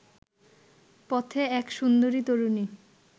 পথে এক সুন্দরী তরুণী